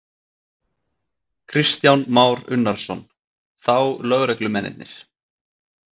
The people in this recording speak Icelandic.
Kristján Már Unnarsson: Þá lögreglumennirnir?